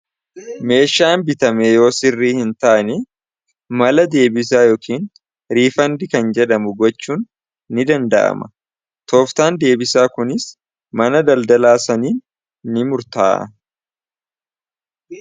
meeshaan bitameeyoo sirri hin taane mala deebisaa yookiin riifandi kan jedhamu gochuun ni danda'ama tooftaan deebisaa kuniis mana daldalaa saniin ni murta'a